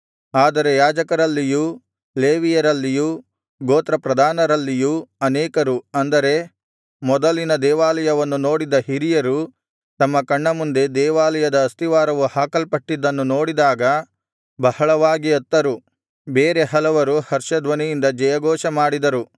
ಆದರೆ ಯಾಜಕರಲ್ಲಿಯೂ ಲೇವಿಯರಲ್ಲಿಯೂ ಗೋತ್ರಪ್ರಧಾನರಲ್ಲಿಯೂ ಅನೇಕರು ಅಂದರೆ ಮೊದಲಿನ ದೇವಾಲಯವನ್ನು ನೋಡಿದ್ದ ಹಿರಿಯರು ತಮ್ಮ ಕಣ್ಣ ಮುಂದೆ ದೇವಾಲಯದ ಅಸ್ತಿವಾರವು ಹಾಕಲ್ಪಟ್ಟಿದ್ದನ್ನು ನೋಡಿದಾಗ ಬಹಳವಾಗಿ ಅತ್ತರು ಬೇರೆ ಹಲವರು ಹರ್ಷಧ್ವನಿಯಿಂದ ಜಯಘೋಷ ಮಾಡಿದರು